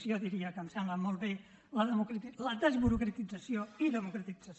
jo diria que em sembla molt bé la desburocratització i democratització